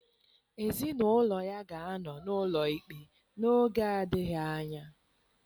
Ezinụlọ ya ga-anọ n'ụlọ ikpe n'oge adịghị anya.